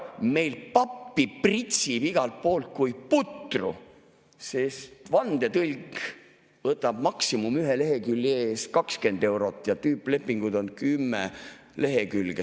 Meil pappi pritsib igalt poolt kui putru, sest vandetõlk võtab maksimum ühe lehekülje eest 20 eurot ja tüüplepingud on 10 lehekülge.